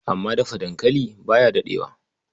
Amma Dafa dankali ba ya daɗewa.